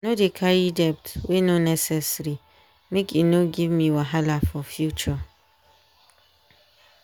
i no dey carry debt wey no necessary make e no give me wahala for future.